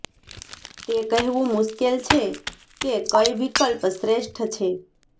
તે કહેવું મુશ્કેલ છે કે કઈ વિકલ્પ શ્રેષ્ઠ છે